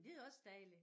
Det er også dejligt